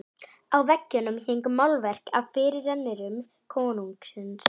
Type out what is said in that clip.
Á veggjum héngu málverk af fyrirrennurum konungsins.